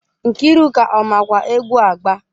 Nkiruka ọ makwa egwu agba?